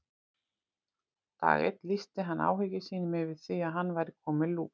Dag einn lýsti hann áhyggjum sínum yfir því að hann væri kominn með lús.